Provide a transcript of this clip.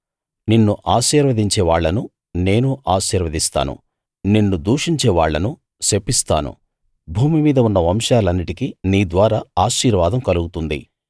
నిన్ను ఆశీర్వదించే వాళ్ళను నేను ఆశీర్వదిస్తాను నిన్ను దూషించేవాళ్ళను శపిస్తాను భూమి మీద ఉన్న వంశాలన్నిటికీ నీ ద్వారా ఆశీర్వాదం కలుగుతుంది